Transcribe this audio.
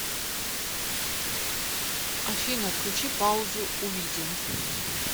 афина отключи паузу у видео